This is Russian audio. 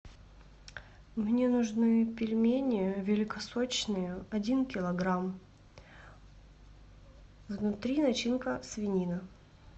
мне нужны пельмени великосочные один килограмм внутри начинка свинина